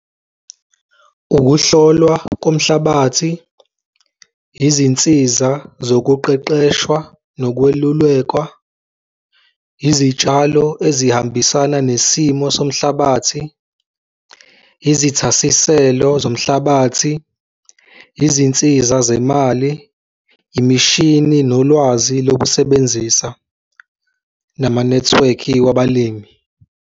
Ukuhlolwa komhlabathi, izinsiza zokuqeqeshwa nokwelulekwa, izitshalo ezihambisana nesimo somhlabathi, izithasiselo zomhlabathi, izinsiza zemali, imishini nolwazi lokusebenzisa namanethiwekhi wabalimi.